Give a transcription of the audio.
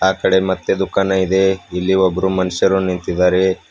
ಆಕಡೆ ಮತ್ತೆ ದುಖಾನ್ ಇದೆ ಇಲ್ಲಿ ಒಬ್ರು ಮನುಷ್ಯರು ನಿಂತಿದ್ದಾರೆ.